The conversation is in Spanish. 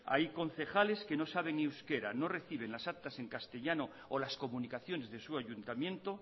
hay concejales que no saben euskera no reciben las actas en castellano o las comunicaciones de su ayuntamiento